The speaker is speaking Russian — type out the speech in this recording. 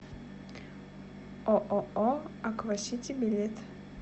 ооо аквасити билет